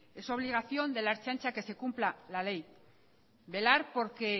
es obligación de la ertzaintza que se cumpla la ley velar porque